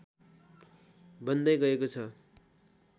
बन्दै गएको छ